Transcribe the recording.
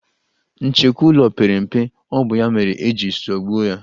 Nchekwu ụlọ pere mpe, ọ bụ ya mere e ji zọgbuo ya.